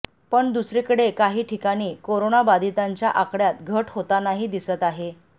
पण दुसरीकडे काही ठिकाणी कोरोनाबाधितांच्या आकड्यात घट होतानाही दिसत आहे